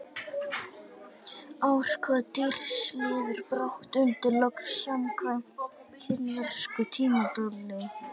Ár hvaða dýrs líður brátt undir lok samkvæmt kínversku tímatali?